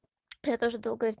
я тоже